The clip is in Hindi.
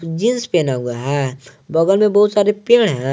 जींस पहना हुआ है बगल में बहुत सारे पेड़ है।